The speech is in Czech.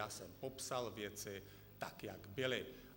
Já jsem popsal věci tak, jak byly.